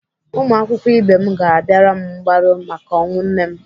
Ụmụakwụkwọ ibe m ga-abịara m mgbaru maka ọnwụ nne m.